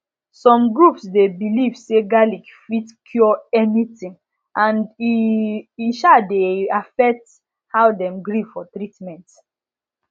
some groups dey believe say garlic fit cure anything and e um dey affect how dem gree for treatment